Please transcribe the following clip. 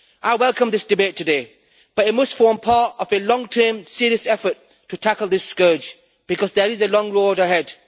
I welcome this debate today, but it must form part of a long term, serious effort to tackle this scourge because there is a long road ahead.